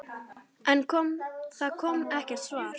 En það kom ekkert svar.